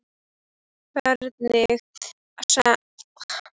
Hvernig sem allt veltist veistu nú hvað gerst hefur.